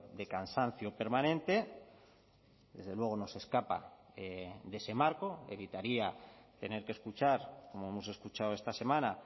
de cansancio permanente desde luego no se escapa de ese marco evitaría tener que escuchar como hemos escuchado esta semana